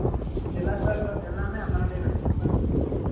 . எல்லாமே அந்தாண்டையே கிடைக்கும் இல்ல?